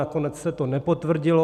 Nakonec se to nepotvrdilo.